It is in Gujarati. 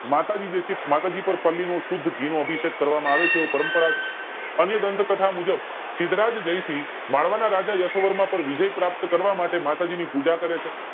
માતાજી જે છે માતાજી પર પલ્લી જે છે નો શુદ્ધ ઘી નો અભિષેક કરવામાં આવે છે એનો પરમ્પરા છે અન્યગ્રંથ કથા મુજબ સિદ્ધરાજ જયસિંહ માળવા ના રાજા યશોવર્મા પર વિજય પ્રાપ્ત કરવા માટે માતાજીની પૂજા કરે છે